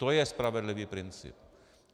To je spravedlivý princip.